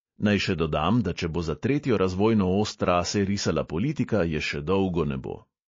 Naj še dodam, da če bo za tretjo razvojno os trase risala politika, je še dolgo ne bo.